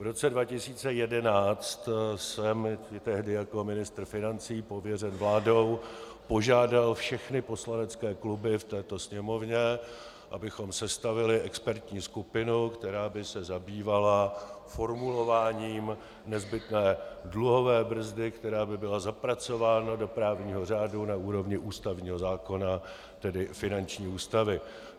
V roce 2011 jsem tehdy jako ministr financí pověřen vládou požádat všechny poslanecké kluby v této Sněmovně, abychom sestavili expertní skupinu, která by se zabývala formulováním nezbytné dluhové brzdy, která by byla zapracována do právního řádu na úrovni ústavního zákona, tedy finanční ústavy.